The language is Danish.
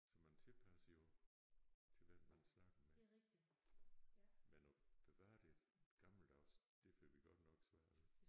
Så man tilpasser jo til hvem man snakker med men at bevare det gammeldags det får vi godt nok svært ved